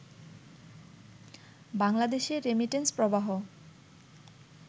বাংলাদেশে রেমিটেন্স প্রবাহ